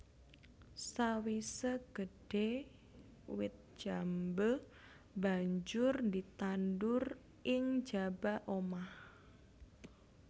Sawisé gedhé wit jambé banjur ditandur ing njaba omah